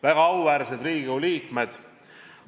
Väga auväärsed Riigikogu liikmed!